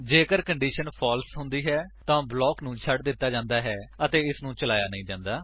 ਜੇਕਰ condition false ਹੁੰਦੀ ਹੈ ਤਾਂ ਬਲਾਕ ਨੂੰ ਛੱਡ ਦਿੱਤਾ ਜਾਂਦਾ ਹੈ ਅਤੇ ਇਸਨੂੰ ਚਲਾਇਆ ਨਹੀ ਜਾਂਦਾ